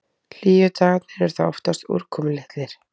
Hlýju dagarnir eru þó oftast úrkomulitlir.